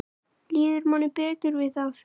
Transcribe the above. Líður manni betur við það?